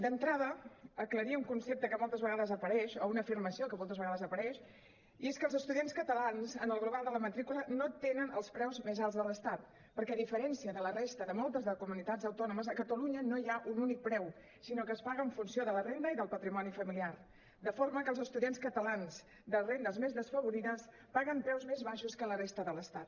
d’entrada aclarir un concepte que moltes vegades apareix o una afirmació que moltes vegades apareix i és que els estudiants catalans en el global de la matrícula no tenen els preus més alts de l’estat perquè a diferència de la resta de moltes de les comunitats autònomes a catalunya no hi ha un únic preu sinó que es paga en funció de la renda i del patrimoni familiar de forma que els estudiants catalans de rendes més desfavorides paguen preus més baixos que a la resta de l’estat